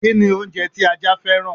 Kini oúnjẹ tí ajá fẹ́ràn?